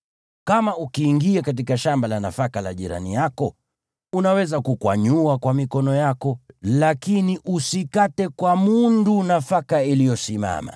Kama ukiingia katika shamba la nafaka la jirani yako, unaweza kukwanyua kwa mikono yako, lakini usikate kwa mundu nafaka iliyosimama.